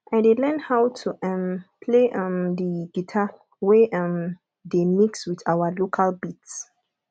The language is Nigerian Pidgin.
i dey learn how to um play um the guitar wey um dey mix with our local beats